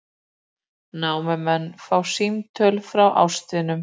Námumennirnir fá símtöl frá ástvinum